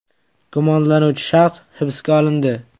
Gumonlanuvchi shaxs hibsga olindi.